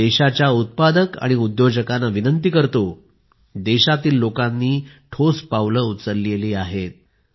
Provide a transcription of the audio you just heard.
मी देशाच्या उत्पादक आणि उद्योजकांना विनंती करतो देशातील लोकांनी ठोस पावले उचलली आहेत